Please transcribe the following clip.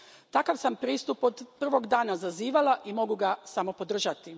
Takav sam pristup od prvog dana zazivala i mogu ga samo podržati.